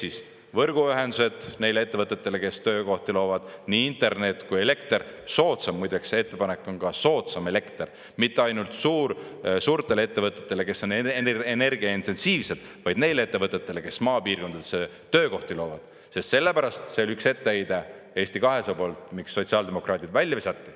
" Ehk siis võrguühendused neile ettevõtetele, kes töökohti loovad, nii internet kui elekter, soodsam – muideks, see ettepanek on ka soodsam elekter mitte ainult suur suurtele ettevõtetele, kes on energia-intensiivsed, vaid neile ettevõtetele, kes maapiirkondades töökohti loovad, sellepärast et see oli üks etteheide Eesti 200 poolt, miks sotsiaaldemokraadid välja visati.